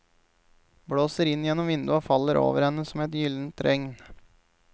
Blåser inn gjennom vinduet og faller over henne som et gyldent regn.